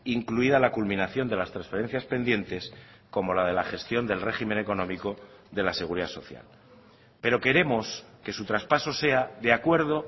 incluida la culminación de las transferencias pendientes como la de la gestión del régimen económico de la seguridad social pero queremos que su traspaso sea de acuerdo